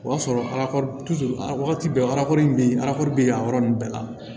O y'a sɔrɔ ala wagati bɛɛ bɛ yen bɛ yan yɔrɔ ninnu bɛɛ la